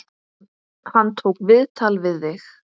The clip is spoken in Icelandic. Hann tók viðtal við þig?